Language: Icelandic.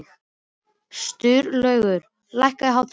Sturlaugur, lækkaðu í hátalaranum.